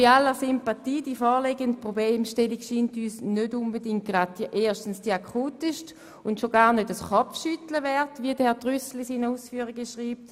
Bei aller Sympathie: Die vorliegende Problemstellung scheint uns erstens nicht unbedingt die akuteste zu sein und zweitens schon gar kein Kopfschütteln wert, wie es Herr Trüssel in seinen Ausführungen schreibt.